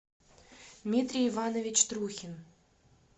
дмитрий иванович трухин